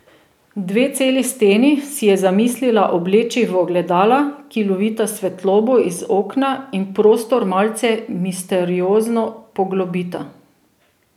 Dve celi steni si je zamislila obleči v ogledala, ki lovita svetlobo iz okna in prostor malce misteriozno poglobita.